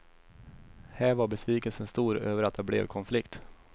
Här var besvikelsen stor över att det blev konflikt.